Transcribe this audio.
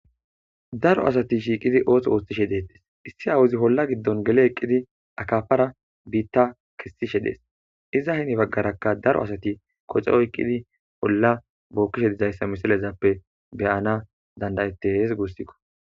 Daro asati shiiqidi ooso oostishe dettes issi awuzi holla giddon gele eqqidi akafara biitta kissishe dees iza hini baggarakka daro asati koce oyqqidi bolla bookkishe dizayssa misilezappe beyana dandayettes guussikko.